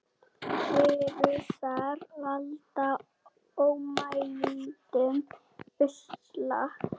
Vírusar valda ómældum usla.